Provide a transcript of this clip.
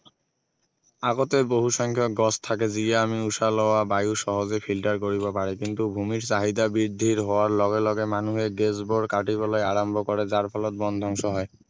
আগতে বহুসংখ্যক গছ থাকে যিয়ে আমি উশাহ লোৱা বায়ু সহজে filter কৰিব পাৰে কিন্তু ভূমিৰ চাহিদা বৃদ্ধিৰ হোৱাৰ লগে লগে মানুহে গেছবোৰ কাটিবলৈ আৰম্ভ কৰে যাৰ ফলত বন ধ্বংস হয়